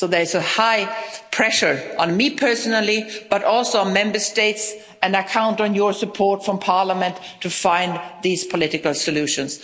So there is high pressure on me personally but also on Member States, and I count on your support from Parliament to find these political solutions.